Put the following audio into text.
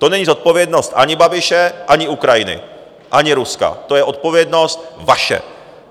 To není zodpovědnost ani Babiše, ani Ukrajiny, ani Ruska, to je odpovědnost vaše.